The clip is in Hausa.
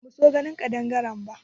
Ba mu so ganin ƙadangare ba